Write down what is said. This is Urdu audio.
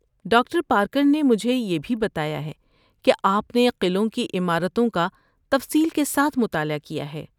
ڈاکٹر پارکر نے مجھے یہ بھی بتایا ہے کہ آپ نے قلعوں کی عمارتوں کا تفصیل کے ساتھ مطالعہ کیا ہے۔